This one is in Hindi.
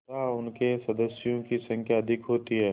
तथा उनके सदस्यों की संख्या अधिक होती है